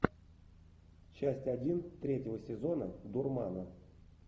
часть один третьего сезона дурмана